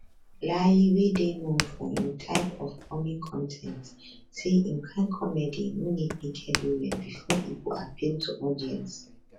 layi wey dey known for im type of comic con ten ts say im kain comedy no need naked women bifor e go appeal to audience